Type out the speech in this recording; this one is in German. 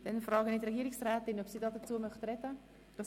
Dann frage ich die Regierungsrätin, ob sie sich dazu äussern will.